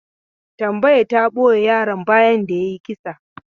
Tambaya ta ɓoye yaron bayan da ya yi kisa.